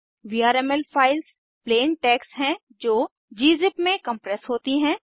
VRML files plain text हैं जो gzip में कम्प्रेस होती हैं